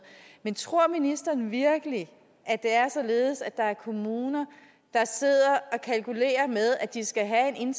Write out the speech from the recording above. men tror ministeren virkelig at det er således at der er kommuner der sidder og kalkulerer med at de skal have en